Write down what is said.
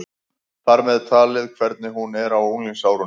Þar með talið hvernig hún er á unglingsárunum.